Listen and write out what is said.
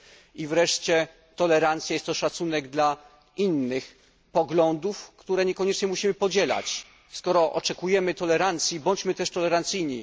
I wreszcie tolerancja jest to szacunek w stosunku do innych poglądów, które nie koniecznie musimy podzielać. Skoro oczekujemy tolerancji, bądźmy też tolerancyjni.